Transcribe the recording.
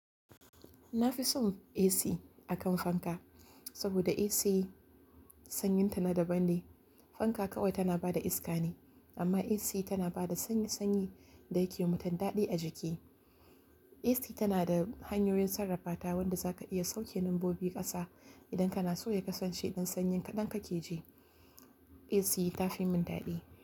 Na fi son AC a kan fanka, saboda AC sanyin ta na daban ne. Fanka kawai tana ba da iska ne, amma AC tana ba da sanyi-sanyi da yake yi wa mutum daɗi a jiki. AC tana da hanyoyin sarrafata wanda zaka iya sauke nombobi ƙasa idan kana so ya kasance idan sanyi kaɗan kake ji. AC ta fi mun daɗi.